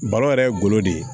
Balo yɛrɛ ye golo de ye